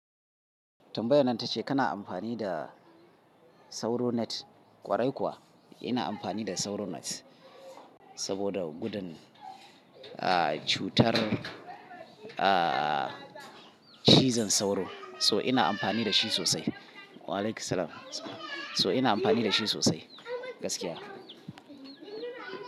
Tambayan ta ce kana amfani da SauroNet? Kwarai kuwa ina amfani da SauroNet saboda gudun, ah, cutar, ah, cizon sauro. So ina amfani da shi sosai. Wa'alaikum assalam. So ina amfani da shi sosai gaskiya.